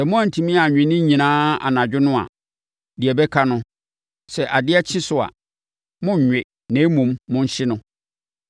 Sɛ moantumi anwe ne nyinaa anadwo no a, deɛ ɛbɛka no, sɛ adeɛ kye so a, monnwe na mmom monhye no.